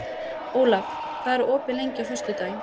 Olav, hvað er opið lengi á föstudaginn?